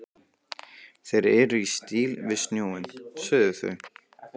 Þeir eru í stíl við snjóinn, sögðu þau.